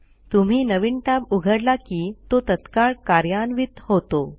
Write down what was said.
तुम्ही नवीन टॅब उघडला की तो तत्काळ कार्यान्वित होतो